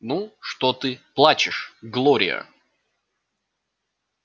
ну что ты плачешь глория